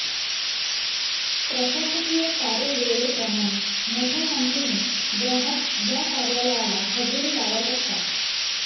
प्रशासकीय कार्यवेळेप्रमाणे मोठ्या संख्येने ग्राहक या कार्यालयाला हजेरी लावत असतात